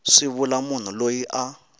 swi vula munhu loyi a